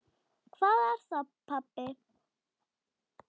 Hvað er það, pabbi?